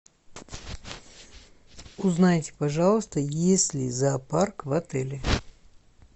узнайте пожалуйста есть ли зоопарк в отеле